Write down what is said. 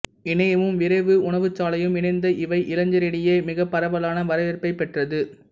இணையமும் விரைவு உணவுச்சாலையும் இணைந்த இவை இளைஞரிடையே மிகப் பரவலான வரவேற்பைப் பெற்றது